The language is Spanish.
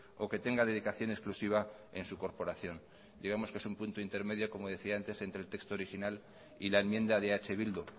o que tenga dedicación exclusiva en su corporación digamos que es un punto intermedio como decía antes entre el texto original y la enmienda de eh bildu